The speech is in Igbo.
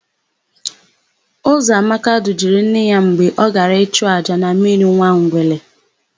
Ụzọamaka dujere nne ya mgbe ọ gara chụọ àjà na mmiri Nwangele.